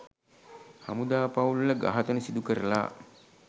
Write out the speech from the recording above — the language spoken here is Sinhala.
හමුදා පවුල්වල ඝාතන සිදු කරලා